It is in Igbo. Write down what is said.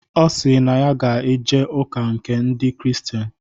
Ọ sịrị na ya ga-eje ụka nke ndị kristian